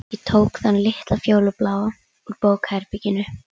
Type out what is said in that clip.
Ég tók þann litla fjólubláa úr bókaherberginu.